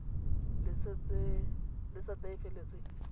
le sete e e feleletseng